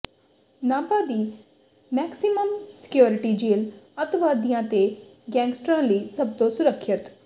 ਨਾਭਾ ਦੀ maximum security jail ਅੱਤਵਾਦੀਆਂ ਤੇ ਗੈਂਗਸਟਰਾਂ ਲਈ ਸਭ ਤੋਂ ਸੁਰੱਖਿਅਤ